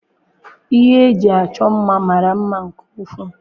Ihe eji achọ mma mara mma nke ukwuu.